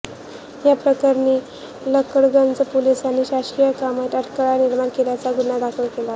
या प्रकरणी लकडगंज पोलिसांनी शासकीय कामात अडथळा निर्माण केल्याचा गुन्हा दाखल केला